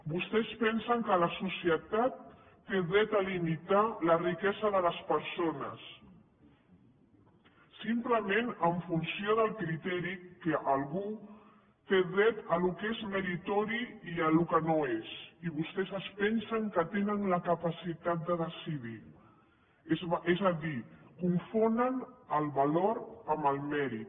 vostès pensen que la societat té dret a limitar la riquesa de les persones simplement en funció del criteri que algú té dret al que és meritori i al que no ho és i vostès es pensen que tenen la capacitat de decidirho és a dir confonen el valor amb el mèrit